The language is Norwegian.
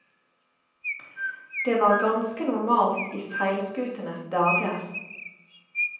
Det var ganske normalt i seilskutenes dager.